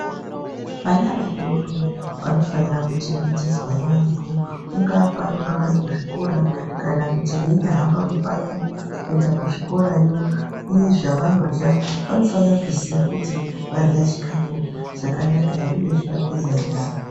Vana vadoodori vanofanirwa kuchengetedzwa yaambo kungaa pavanenge vari kuzvikora kana kuti veinyaa hamba mupato kuenda kuzvikora yoo uye zvavanorya vanofanire kuziya kuti varya chikafu chakanaka here uye vageza nyara.